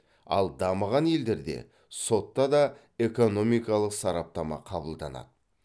ал дамыған елдерде сотта да экономикалық сараптама қабылданады